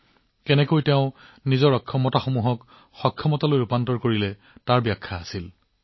তেওঁ কেনেকৈ তেওঁৰ ত্ৰুটিবোৰক সামৰ্থ্যলৈ পৰিৱৰ্তন কৰিছিল তাৰ বিষয়ে কৈছিল